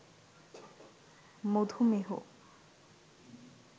মধুমেহ